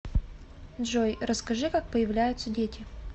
джой расскажи как появляются дети